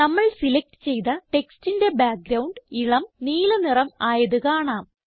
നമ്മൾ സിലക്റ്റ് ചെയ്ത ടെക്സ്റ്റിന്റെ ബാക്ക്ഗ്രൌണ്ട് ഇളം നീല നിറം ആയത് കാണാം